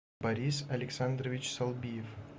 борис александрович салбиев